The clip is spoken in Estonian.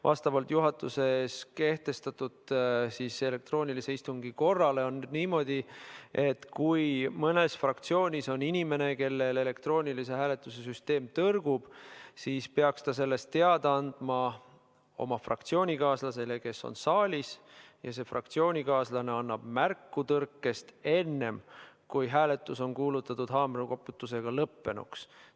Vastavalt juhatuses kehtestatud elektroonilise istungi korrale on niimoodi, et kui mõnes fraktsioonis on inimene, kellel elektroonilise hääletuse süsteem tõrgub, siis peaks ta sellest teada andma oma fraktsioonikaaslasele, kes on saalis, ja see fraktsioonikaaslane annab märku tõrkest enne, kui hääletus on kuulutatud haamrikoputusega lõppenuks.